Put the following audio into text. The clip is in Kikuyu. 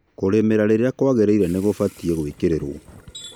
kũrĩmĩra rĩrĩa kũagĩrĩĩre nĩ kũbatĩĩ gũĩkĩrĩrũo